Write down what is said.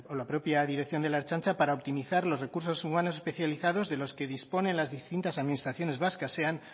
la propia dirección de la ertzaintza para optimizar los recursos humanos especializados de los que disponen las distintas administraciones vascas sean